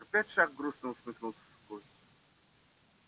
опять шах грустно усмехнулся сухой